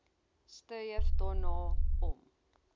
streef daarna om